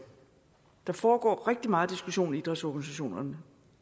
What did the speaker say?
der foregår rigtig meget diskussion i idrætsorganisationerne